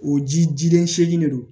O ji jilen seegin de don